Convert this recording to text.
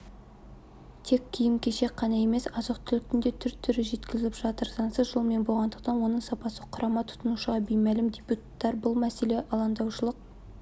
тек киім-кешек қана емес азық-түліктің те түр-түрі жеткізіліп жатыр заңсыз жолмен болғандықтан оның сапасы құрамы тұтынушыға беймәлім депутаттар бұл мәселеге алаңдаушылық